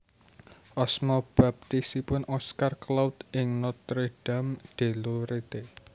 Asma baptisipun Oscar Claude ing Nortre Dame de Lorette